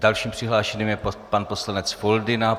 Dalším přihlášeným je pan poslanec Foldyna.